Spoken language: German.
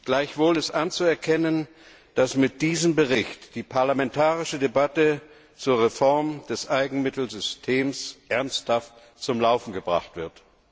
Gleichwohl ist anzuerkennen, dass mit diesem Bericht die parlamentarische Debatte zur Reform des Eigenmittelsystems ernsthaft zum Laufen gebracht wird.